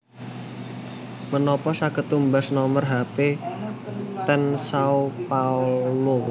Menopo saged tumbas nomer hape ten Sao Paulo